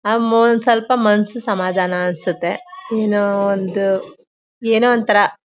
ನಂಗೂ ಸ್ವಲ್ಪ ಮನ್ಸಿಗೆ ಸಮಾಧಾನ ಅನ್ಸುತ್ತೆ ಏನೋ ಒಂದು. ಏನೋ ಒಂದ್ ತರ.